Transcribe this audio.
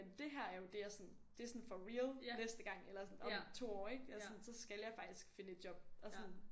Og dét her er jo det jeg sådan det sådan for real næste gang eller sådan om 2 år ikke eller sådan så skal jeg faktisk finde et job og sådan